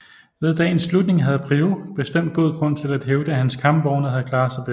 Ved dagens slutning havde Prioux bestemt god grund til at hævde at hans kampvogne havde klaret sig bedst